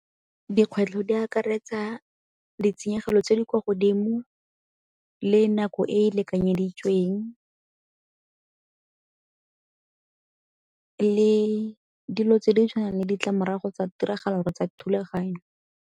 Dikgwetlho di akaretsa ditshenyegelo tse di kwa godimo le nako e e lekanyeditsweng le dilo tse di tshwanang le ditlamorago tsa tiragalo tsa thulaganyo.